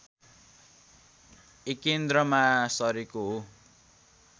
एकेन्द्रमा सरेको हो